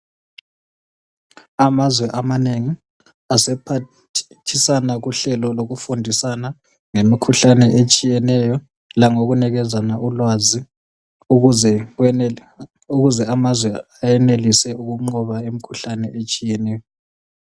Amazwe amanengi asephathisa kuhlelo lokufundisana ngemikhuhlane etshiyeneyo langokunikezana ulwazi ukuze amazwe enelise ukunqoba imikhuhlane etshiyeneyo.